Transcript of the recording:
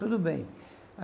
Tudo bem.